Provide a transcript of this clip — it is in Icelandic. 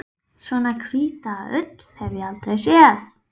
Svona hvíta ull hef ég aldrei séð.